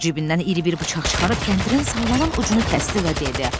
Poter cibindən iri bir bıçaq çıxarıb kəndirin sallanan ucunu kəsdi və dedi.